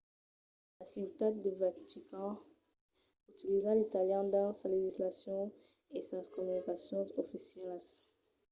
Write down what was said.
la ciutat de vatican utiliza l’italian dins sa legislacion e sas comunicacions oficialas